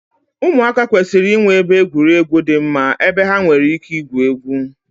ụmụaka kwesịrị inwe ebe egwuregwu dị mma ebe ha nwere ike igwu egwu